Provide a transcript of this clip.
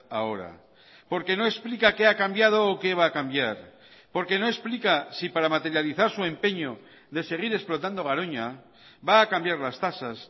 ahora porque no explica qué ha cambiado o qué va a cambiar porque no explica si para materializar su empeño de seguir explotando garoña va a cambiar las tasas